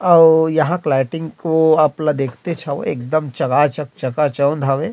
अउ यहाँ के लाइटिंग को आप ल देखतेच हवे एक दम चकाचक चकाचौंध हवे--